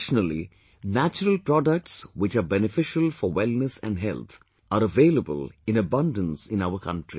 Traditionally natural products which are beneficial for wellness and health are available in abundance in our country